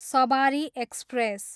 सबारी express